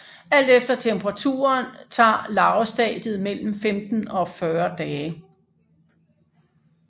Alt efter temperaturen tager larvestadiet mellem 15 og 40 dage